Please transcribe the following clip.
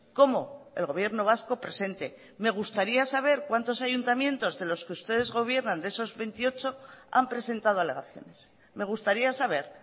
como el gobierno vasco presente me gustaría saber cuántos ayuntamientos de los que ustedes gobiernan de esos veintiocho han presentado alegaciones me gustaría saber